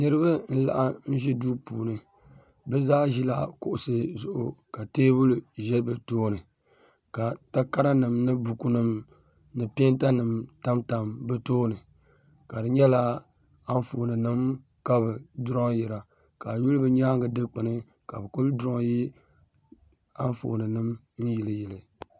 niriba n-laɣim ʒi duu puuni bɛ zaa ʒila kuɣisi zuɣu ka teebuli za bɛ tooni ka takaranima ni bukunima ni peentanima tamtam bɛ tooni ka di nyɛla anfooninima ka bɛ durɔnyira ka a yuli bɛ nyaaŋa dikpini ka bɛ kuli durɔnyi anfooninima n-yiliyili